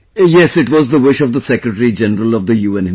Yes, it was the wish of the Secretary General of the UN himself